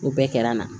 O bɛɛ kɛra n na